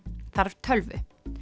þarf tölvu